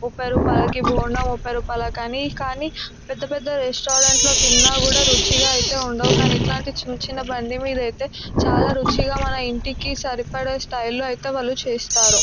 ముప్పై రూపాయలకి బోండా ముప్పై రూపాయిలే కానీ కానీపెద్ద పెద్ద రెస్టారెంట్ లో తిన్నా కూడా రుచిగా ఐతే ఉండవు కానీ ఇట్లాంటి చిన్న చిన్న బండి మీద ఐతే చాలా రుచిగా మన ఇంటికి సరిపడే స్టైల్ లో అయితే వాళ్ళు చేస్తారు.